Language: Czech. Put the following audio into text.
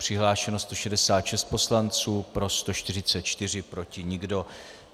Přihlášeno 166 poslanců, pro 144, proti nikdo.